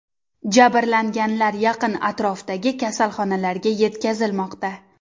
Jabrlanganlar yaqin atrofdagi kasalxonalarga yetkazilmoqda.